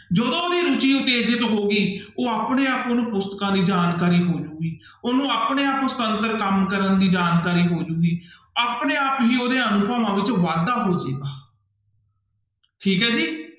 ਜਦੋਂ ਵੀ ਰੁੱਚੀ ਉਤੇਜਿਤ ਹੋ ਗਈ ਉਹ ਆਪਣੇ ਆਪ ਉਹਨੂੰ ਪੁਸਤਕਾਂ ਦੀ ਜਾਣਕਾਰੀ ਹੋ ਜਾਊਗੀ ਉਹਨੂੰ ਆਪਣੇ ਆਪ ਕੰਮ ਕਰਨ ਦੀ ਜਾਣਕਾਰੀ ਹੋ ਜਾਉਗੀ ਆਪਣੇ ਆਪ ਹੀ ਉਹਦੇ ਅਨੁਭਵਾਂ ਵਿੱਚ ਵਾਧਾ ਹੋ ਜਾਏਗਾ ਠੀਕ ਹੈ ਜੀ।